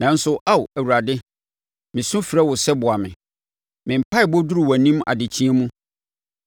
Nanso Ao Awurade, mesu frɛ wo sɛ boa me; me mpaeɛbɔ duru wʼanim adekyeeɛ mu